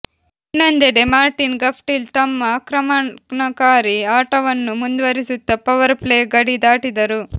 ಇನ್ನೊಂದೆಡೆ Martin Guptill ತಮ್ಮ ಆಕ್ರಮಣಕಾರಿ ಆಟವನ್ನು ಮುಂದುವರಿಸುತ್ತ ಪವರ್ ಪ್ಲೇ ಗಡಿ ದಾಟಿದರು